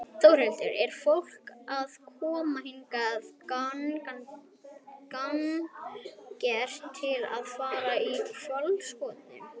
Þórhildur: Er fólk að koma hingað gagngert til að fara í hvalaskoðun?